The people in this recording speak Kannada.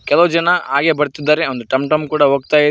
ಕೆಲವು ಜನ ಹಾಗೆ ಬರ್ತಿದ್ದಾರೆ ಒಂದು ಟಂ ಟಂ ಕೂಡ ಹೋಗ್ತಾ ಇ--